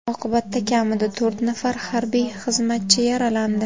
Oqibatda kamida to‘rt nafar harbiy xizmatchi yaralandi.